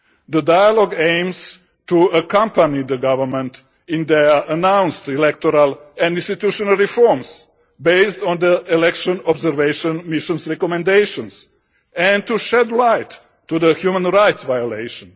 The dialogue aims to accompany the government in their announced electoral and institutional reforms, based on the Election Observation Mission's recommendations and to shed light on the human rights violations.